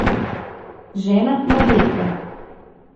Žena Marjetka.